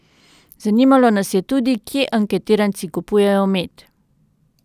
Zanimalo nas je tudi, kje anketiranci kupujejo med.